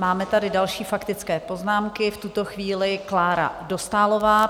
Máme tady další faktické poznámky, v tuto chvíli Klára Dostálová.